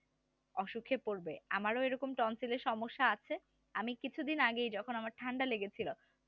অসুখে পড়বে আমারও এইরকম সমস্যা আছে আমি কিছুদিন আগেই যখন আমার ঠান্ডা লেগে ছিল